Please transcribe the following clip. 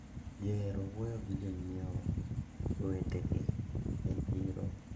Ji ohero wuoyo gi jonyiewo wetegi e chiro.